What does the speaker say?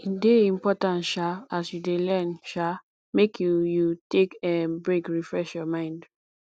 e de important um as you de learn um make you you take um break refresh your mind